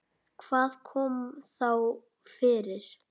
Hvað kom þá fyrir?